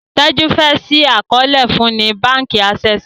Teju fe ṣii àkọọlẹ fún ní bánkì Access.